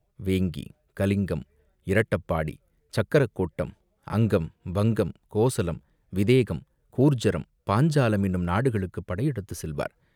வேங்கி, கலிங்கம், இரட்டபாடி, சக்கரக்கோட்டம், அங்கம், வங்கம், கோசலம், விதேகம், கூர்ஜரம், பாஞ்சாலம் என்னும் நாடுகளுக்குப் படையெடுத்துச் செல்வார்.